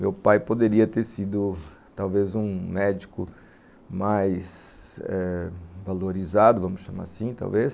Meu pai poderia ter sido talvez um médico mais eh valorizado, vamos chamar assim, talvez,